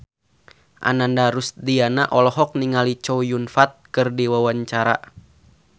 Ananda Rusdiana olohok ningali Chow Yun Fat keur diwawancara